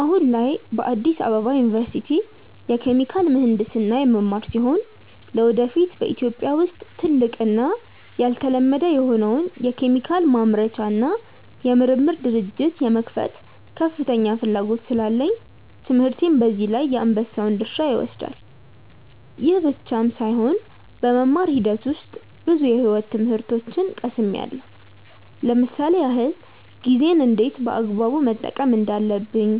አሁን ላይ በአዲስ አበባ ዩኒቨርሲቲ የኬሚካል ምሕንድስና የምማር ሲሆን ለወደፊት በኢትዮጵያ ውስጥ ትልቅ እና ያልተለመደ የሆነውን የኬሚካል ማምረቻ እና የምርምር ድርጅት የመክፈት ከፍተኛ ፍላጎት ስላለኝ ትምህርቴ በዚህ ላይ የአንበሳውን ድርሻ ይወስዳል። ይህ ብቻም ሳይሆን በመማር ሂደት ውስጥ ብዙ የሕይወት ትምህርቶችን ቀስምያለው ለምሳሌ ያክል፦ ጊዜን እንዴት በአግባቡ መጠቀም እንዳለብኝ፣